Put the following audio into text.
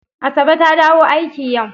Asabe ta dawo aiki yau.